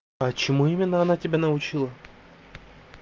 почему именно она тебя научила